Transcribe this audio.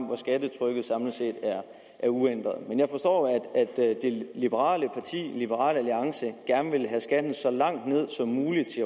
hvor skattetrykket samlet set er uændret men jeg forstår at det liberale parti liberal alliance gerne vil have skatten så langt ned som muligt